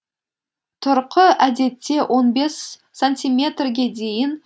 тұрқы әдетте он бес сантиметрге дейін